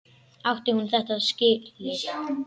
Átti hún þetta líka skilið?